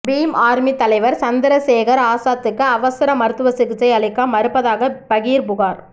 beam Army தலைவர் சந்திரசேகர் ஆசாத்துக்கு அவசர மருத்துவ சிகிச்சை அளிக்க மறுப்பதாக பகீர் புகார்